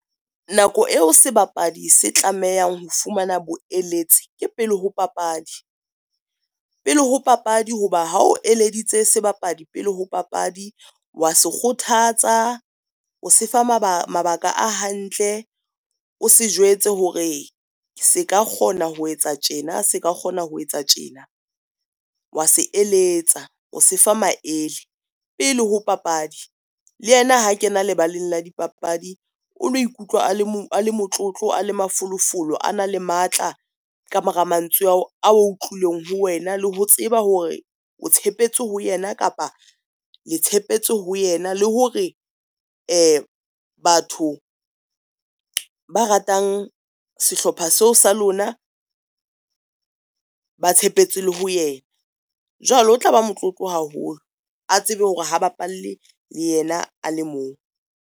Nako eo sebapadi se tlamehang ho fumana bo eletsi ke pele ho papadi. Pele ho papadi ho ba ha o eleditse sebapadi pele ho papadi wa se kgothatsa. O sefa mabaka a hantle, o se jwetse hore se ka kgona ho etsa tjena, se ka kgona ho etsa tjena, wa se eletsa o se fa maele pele ho papadi. Le yena ha kena lebaleng la dipapadi, o lo ikutlwa a le motlotlo a le mafolofolo a na le matla ka mora mantswe ao a utlwileng ho wena le ho tseba hore o tshepetse ho yena kapa le tshepetse ho yena, le hore batho ba ratang sehlopha seo sa lona ba tshepetse le ho yena. Jwale o tla ba motlotlo haholo a tsebe hore ha bapalle yena a le mong.